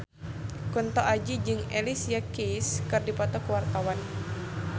Kunto Aji jeung Alicia Keys keur dipoto ku wartawan